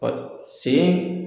Ɔ sen